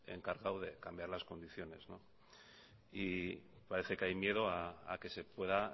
encargado de cambiar las condiciones y parece que hay miedo a que se pueda